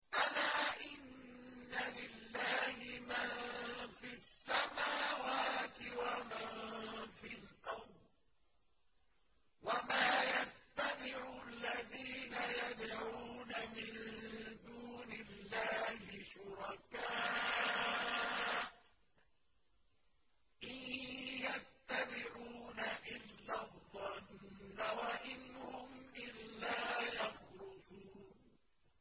أَلَا إِنَّ لِلَّهِ مَن فِي السَّمَاوَاتِ وَمَن فِي الْأَرْضِ ۗ وَمَا يَتَّبِعُ الَّذِينَ يَدْعُونَ مِن دُونِ اللَّهِ شُرَكَاءَ ۚ إِن يَتَّبِعُونَ إِلَّا الظَّنَّ وَإِنْ هُمْ إِلَّا يَخْرُصُونَ